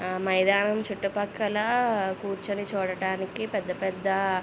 మైదానము చుట్టూ పక్కల కూర్చుని చూడడానికి పేద పెద్ద--